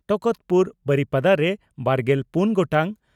ᱴᱟᱠᱟᱛᱯᱩᱨ ᱵᱟᱨᱤᱯᱟᱫᱟ) ᱨᱮ ᱵᱟᱨᱜᱮᱞ ᱯᱩᱱ ᱜᱚᱴᱟᱝ